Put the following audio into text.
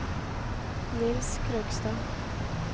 Niels Krogstad